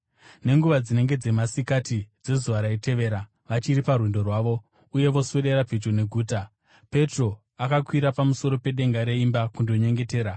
Nenguva dzinenge dzamasikati dzezuva raitevera, vachiri parwendo rwavo, uye voswedera pedyo neguta, Petro akakwira pamusoro pedenga reimba kundonyengetera.